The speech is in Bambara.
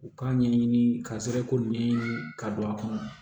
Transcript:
U k'a ɲɛɲini ka sɔrɔ ko nɛ ka don a kɔnɔ